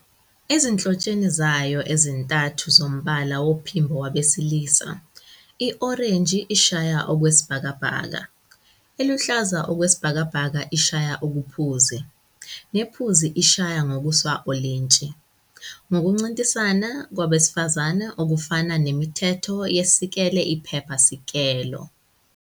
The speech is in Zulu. Ezinhlotsheni zayo ezintathu zombala womphimbo wabesilisa, "i-orange ishaya okwesibhakabhaka, eluhlaza okwesibhakabhaka ishaya okuphuzi, nephuzi ishaya ngokusawolintshi" ngokuncintisana kwabesifazane, okufana nemithetho yesikele-iphepha-sikelo.